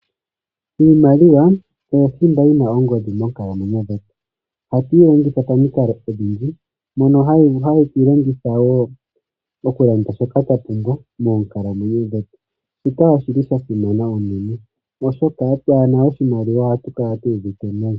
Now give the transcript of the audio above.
Iimaliwa oyo thimba yina ongodhi monkalamwenyo dhetu. Oha tuyi longitha pamikalo odhindji, mono hatu yi longitha wo oku landa shoka twa pumbwa moonkalamwenyo dhetu. Shika oshili shasimana unene oshoka twaana oshimaliwa ohatu kala tu uvite nayi.